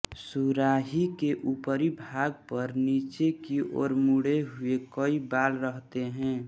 सुराही के ऊपरी भाग पर नीचे की ओर मुड़े हुए कई बाल रहते हैं